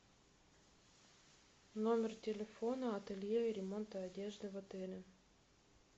номер телефона ателье и ремонта одежды в отеле